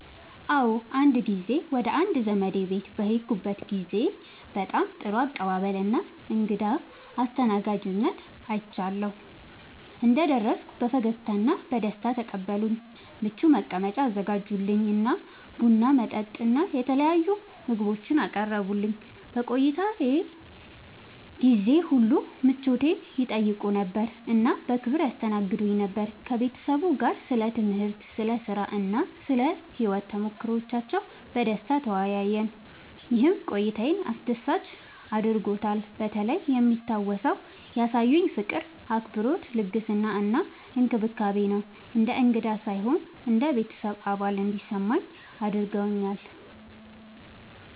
አዎ፣ አንድ ጊዜ ወደ አንድ ዘመዴ ቤት በሄድኩበት ጊዜ በጣም ጥሩ አቀባበል እና እንግዳ አስተናጋጅነት አግኝቻለሁ። እንደደረስኩ በፈገግታ እና በደስታ ተቀበሉኝ፣ ምቹ መቀመጫ አዘጋጁልኝ እና ቡና፣ መጠጥ እና የተለያዩ ምግቦችን አቀረቡልኝ። በቆይታዬ ጊዜ ሁሉ ምቾቴን ይጠይቁ ነበር እና በክብር ያስተናግዱኝ ነበር። ከቤተሰቡ ጋር ስለ ትምህርት፣ ስለ ሥራ እና ስለ ሕይወት ተሞክሮዎች በደስታ ተወያየን፣ ይህም ቆይታዬን አስደሳች አድርጎታልበተለይ የሚታወሰው ያሳዩኝ ፍቅር፣ አክብሮት፣ ልግስና እና እንክብካቤ ነው። እንደ እንግዳ ሳይሆን እንደ ቤተሰብ አባል እንዲሰማኝ አድርገውኛል።